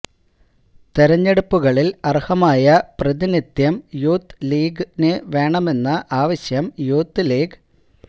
തെരഞ്ഞെടുപ്പുകളിൽ അർഹമായ പ്രതിനിധ്യം യൂത്ത് ലീഗിന് വേണമെന്ന ആവശ്യം യൂത്ത് ലീഗ്